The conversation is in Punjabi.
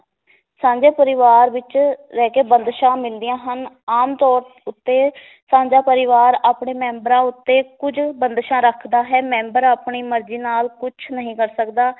ਸਾਂਝੇ ਪਰਿਵਾਰ ਵਿਚ ਰਹਿ ਕੇ ਬੰਧਿਸਾਂ ਮਿਲਦੀਆਂ ਹਨ ਆਮ ਤੌਰ ਉੱਤੇ ਸਾਂਝਾਂ ਪਰਿਵਾਰ ਆਪਣੇ ਮੈਬਰਾਂ ਉੱਤੇ ਕੁੱਝ ਬੰਧਿਸਾਂ ਰੱਖਦਾ ਹੈ ਮੈਂਬਰ ਆਪਣੀ ਮਰਜੀ ਨਾਲ ਕੁਛ ਨਹੀ ਕਰ ਸਕਦਾ